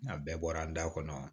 Nka bɛɛ bɔra an da kɔnɔ